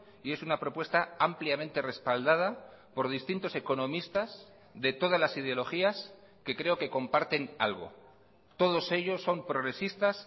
y es una propuesta ampliamente respaldada por distintos economistas de todas las ideologías que creo que comparten algo todos ellos son progresistas